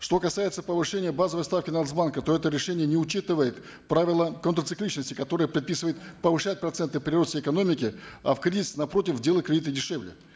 что касается повышения базовой ставки нац банка то это решение не учитывает правила контрцикличности которая предписывает повышать проценты при росте экономики а в кризис напротив делать кредиты дешевле